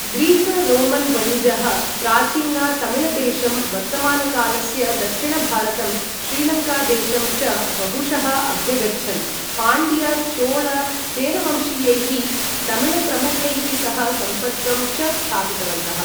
Greek Roman वणिजः प्राचीन तमिळदेशं, वर्तमानकालस्य दक्षिणभारतं, श्रीलङ्कादेशं च बहुशः अभ्यगच्छन्, पाण्ड्य चोल चेरवंशीयैः तमिळ प्रमुखैः सह सम्पर्कं च स्थापितवन्तः।